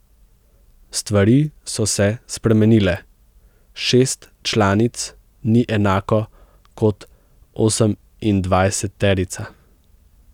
Stvari so se spremenile, šest članic ni enako kot osemindvajseterica.